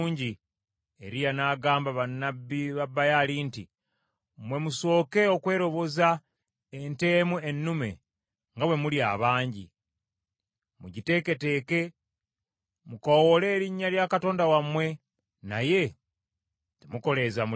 Eriya n’agamba bannabbi ba Baali nti, “Mmwe musooke okweroboza ente emu ennume nga bwe muli abangi, mugiteeketeeke. Mukoowoole erinnya lya katonda wammwe, naye temukoleeza muliro.”